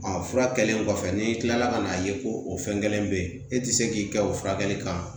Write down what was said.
fura kɛlen kɔfɛ n'i kilala ka n'a ye ko o fɛn kelen be yen e ti se k'i kɛ o furakɛli kan